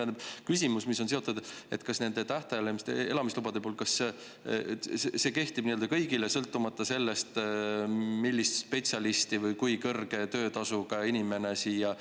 Teine küsimus, mis on sellega seotud: kas nende tähtajaliste elamislubade puhul see kehtib kõigile, sõltumata sellest, milline spetsialist või kui kõrge töötasuga inimene siia tuleb?